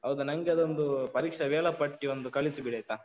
ಹೌದಾ? ನಂಗೆ ಅದೊಂದು ಪರೀಕ್ಷೆಯ ವೇಳಾಪಟ್ಟಿಯೊಂದು ಕಳಿಸಿಬಿಡಾಯ್ತಾ?